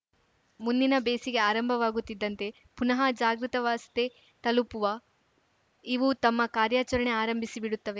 ಮುಂದಿನ ಬೇಸಿಗೆ ಆರಂಭವಾಗುತ್ತಿದ್ದಂತೆ ಪುನಃ ಜಾಗೃತವಾಸ್ಥೆ ತಲುಪುವ ಇವು ತಮ್ಮ ಕಾರ್ಯಾಚರಣೆ ಆರಂಭಿಸಿ ಬಿಡುತ್ತವೆ